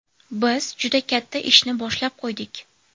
Biz juda katta ishni boshlab qo‘ydik.